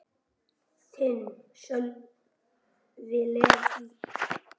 Þinn, Sölvi Leví.